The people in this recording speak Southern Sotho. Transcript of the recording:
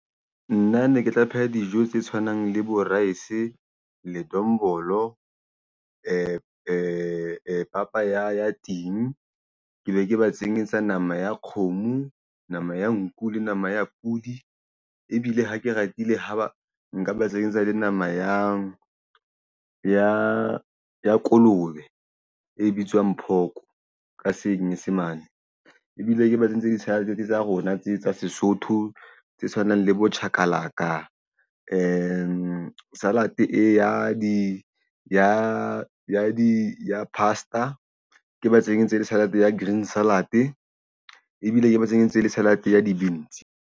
Nna ne ke tla pheha dijo tse tshwanang le bo rice ledombolo papa ya ting ke be ke ba tsenyetsa nama ya kgomo, nama ya nku le nama ya pudi ebile ha ke ratile haba nka ba tsenyetsa le nama ya kolobe e bitswang pork ka Senyesemane ebile ke ba tse ntsenyetse di-salad tsa rona tse tsa Sesotho tse tshwanang le bo chakalaka salad ya di-pasta ke ba tsenyetse le salad ya green salad ebile ke metseng e ntse e le salad ya di .